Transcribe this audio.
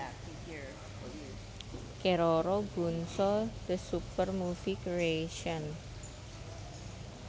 Keroro Gunso the Super Movie Creation